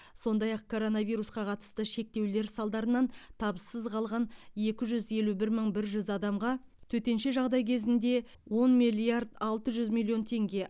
сондай ақ коронавирусқа қатысты шектеулер салдарынан табыссыз қалған екі жүз елу бір мың бір жүз адамға төтенше жағдай кезінде он миллиард алты жүз миллион теңге